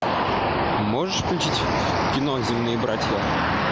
можешь включить кино земные братья